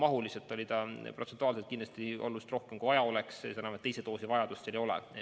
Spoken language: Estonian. Mahuliselt on seda protsentuaalselt kindlasti oluliselt rohkem, kui tarvis oleks, seda enam, et teise doosi vajadust ei ole.